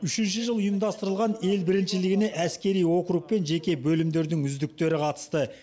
үшінші жыл ұйымдастырылған ел біріншілігіне әскери округ пен жеке бөлімдердің үздіктері қатысты